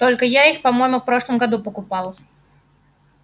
только я их по-моему в прошлом году покупал